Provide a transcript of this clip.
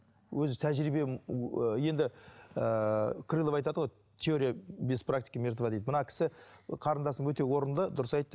өзі тәжірибе енді ыыы крылов айтады ғой теория без практики мертва дейді мына кісі қарындасым өте орынды дұрыс айтты